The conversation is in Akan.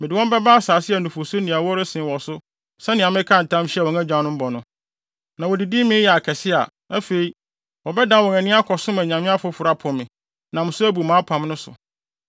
Mede wɔn bɛba asase a nufusu ne ɛwo resen wɔ so sɛnea mekaa ntam hyɛɛ wɔn agyanom bɔ no. Na wodidi mee yɛ akɛse a, afei, wɔbɛdan wɔn ani akɔsom anyame afoforo apo me, nam so abu mʼapam no so.